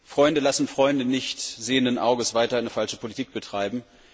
Freunde lassen Freunde nicht sehenden Auges weiter eine falsche Politik betreiben.